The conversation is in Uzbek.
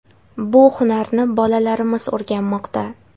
Bu hunarni bolalarimiz o‘rganmoqda.